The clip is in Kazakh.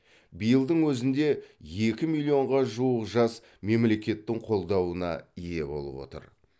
биылдың өзінде екі миллионға жуық жас мемлекеттің қолдауына ие болып отыр